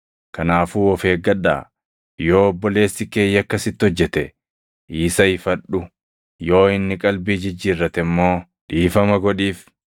Kanaafuu of eeggadhaa. “Yoo obboleessi kee yakka sitti hojjete isa ifadhu; yoo inni qalbii jijjiirrate immoo dhiifama godhiif.